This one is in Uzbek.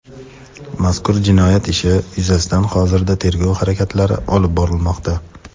Mazkur jinoyat ishi yuzasidan hozirda tergov harakatlari olib borilmoqda.